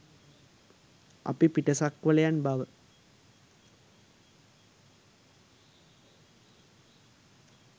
අපි පිටසක්වලයන් බව